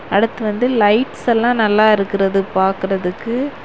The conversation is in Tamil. அடுத்து வந்து லைட்ஸ் எல்லாம் நல்லா இருக்குறது பக்கறதுக்கு.